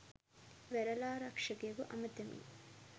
වෙරළාරක්ෂකයෙකු අමතමින්